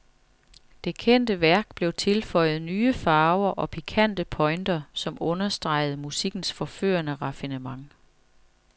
Det kendte værk blev tilføjet nye farver og pikante pointer, som understregede musikkens forførende raffinement.